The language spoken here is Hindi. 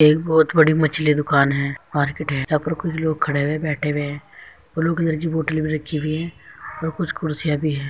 एक बोहोत बड़ी मछली की दुकान है मार्केट है यहाँ पर कुछ लोग खड़े हुए बैठे हुए हैं। ब्लू कलर की घर की बोत्तले भी रखी हुई हैं। कुछ कुर्सियां भी हैं।